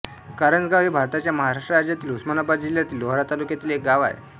करंजगाव हे भारताच्या महाराष्ट्र राज्यातील उस्मानाबाद जिल्ह्यातील लोहारा तालुक्यातील एक गाव आहे